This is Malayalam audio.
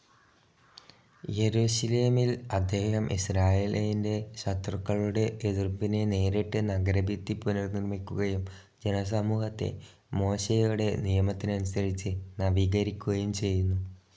യെരുശലേമിൽ അദ്ദേഹം ഇസ്രായേലിന്റെ ശത്രുക്കളുടെ എതിർപ്പിനെ നേരിട്ട് നഗരഭിത്തി പുനർനിർമ്മിക്കുകയും ജനസമൂഹത്തെ മോശെയുടെ നിയമത്തിനനുസരിച്ച് നവീകരിക്കുകയും ചെയ്യുന്നു.